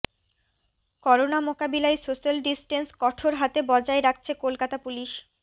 corona মোকাবিলায় social distance কঠোর হাতে বজায় রাখছে কলকাতা পুলিশ